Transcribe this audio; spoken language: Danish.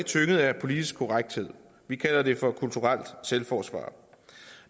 tynget af politisk korrekthed vi kalder det for kulturelt selvforsvar